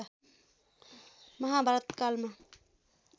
महाभारत कालमा